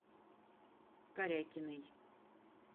корякиной